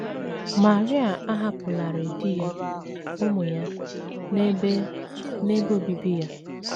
Maria ahapụlarị di ya, ụmụ ya, na ebe, na ebe obibi ya.